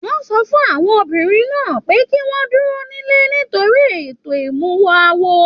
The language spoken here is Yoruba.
Wọn sọ fún àwọn obìnrin pe kí wọn dúró nílé nítorí ètò imuwọ̀ awo.